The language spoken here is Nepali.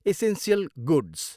Essential goods.